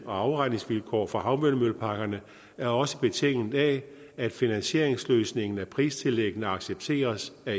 og afregningsvilkår for havvindmølleparkerne er også betinget af at finansieringsløsningen af pristillæggene accepteres af